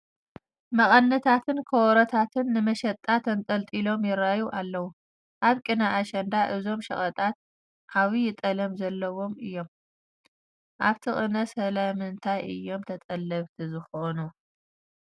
መቐነታትን ከበሮታትን ንመሸጣ ተንጠልጢሎም ይርአዩ ኣለዉ፡፡ ኣብ ቅነ ኣሸንዳ እዞም ሸቐጣት ዓብዪ ጠለብ ዘለዎም እዮ፡፡ ኦብቲ ቅነ ስለምንታይ እዮም ተጠለብቲ ዝኾኑ?